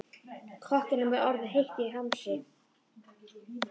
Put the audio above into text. Kokkinum er orðið heitt í hamsi.